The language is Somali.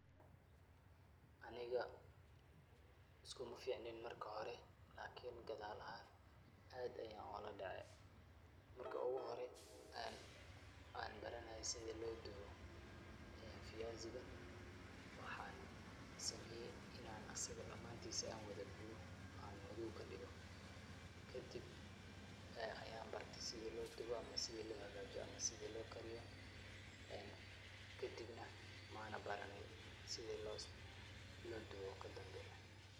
Aniga uskumificneen marka hore lakin gadaal ahaan aad ayaan u ladhacay. Marka ugu hore aan aan baranaayey sida loo dubo viyaziga, waxaan sameeyey inaan asiga dhamaantisa ann wada gubo aan madow ka dhigayo. Kadib ayaan bartay sida loo dubo ama sida loo hagaajiyo ama sida loo kariyo, kadibna ma aanan baranin sida loo dubo kadambe.